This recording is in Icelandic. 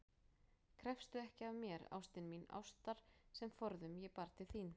Krefstu ekki af mér, ástin mín, ástar sem forðum ég bar til þín